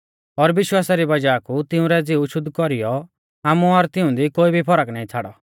और विश्वासा री वज़ाह कु तिंउरै ज़िऊ शुद्ध कौरीयौ आमु और तिऊंदी कोई भी फर्क नाईं छ़ाड़ौ